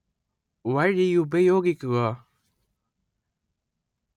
വഴിയുപയോഗിക്കുക